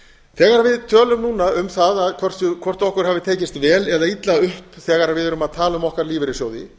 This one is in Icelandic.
þegar við tölum núna um það hvort okkur hafi tekist vel eða illa upp þegar við erum að tala um okkar lífeyrissjóði